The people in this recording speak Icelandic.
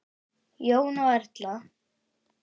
Jón og Erla.